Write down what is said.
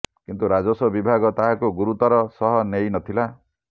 କିନ୍ତୁ ରାଜସ୍ୱ ବିଭାଗ ତାହାକୁ ଗୁରୁତର ସହ ନେଇ ନ ଥିଲା